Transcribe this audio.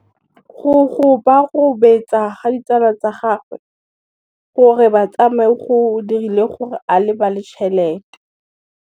Go gobagobetsa ga ditsala tsa gagwe, gore ba tsamaye go dirile gore a lebale tšhelete.